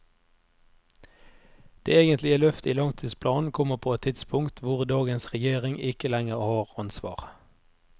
Det egentlige løftet i langtidsplanen kommer på et tidspunkt hvor dagens regjering ikke lenger har ansvar.